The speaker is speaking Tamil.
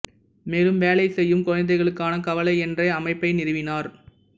மேலும் வேலை செய்யும் குழந்தைகளுக்கான கவலை என்ற அமைப்பை நிறுவினார்